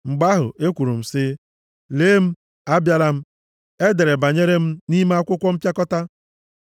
Mgbe ahụ, ekwuru m sị, “Lee m, abịala m, e dere banyere m nʼime akwụkwọ mpịakọta.